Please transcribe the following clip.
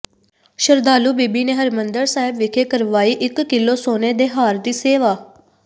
ਸ਼ਰਧਾਲੂ ਬੀਬੀ ਨੇ ਹਰਿਮੰਦਰ ਸਾਹਿਬ ਵਿਖੇ ਕਰਵਾਈ ਇੱਕ ਕਿੱਲੋ ਸੋਨੇ ਦੇ ਹਾਰ ਦੀ ਸੇਵਾ